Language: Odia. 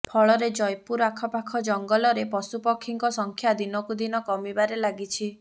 ଫଳରେ ଜୟପୁର ଆଖପାଖ ଜଙ୍ଗଲରେ ପଶୁପକ୍ଷୀଙ୍କ ସଂଖ୍ୟା ଦିନକୁ ଦିନ କମିବାରେ ଲାଗିଛି